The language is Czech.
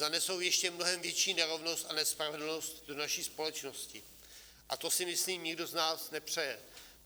Zanesou ještě mnohem větší nerovnost a nespravedlnost do naší společnosti a to si myslím nikdo z nás nepřeje.